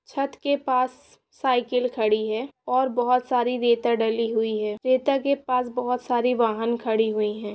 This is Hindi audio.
छत के पास स -साइकिल खड़ी है और बहुत सारी रेता डली हुई है रेता के पास बहुत सारी वाहन खड़ी हुई है।